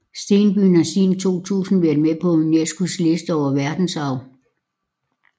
Stenbyen har siden 2000 været med på UNESCOs liste over verdensarv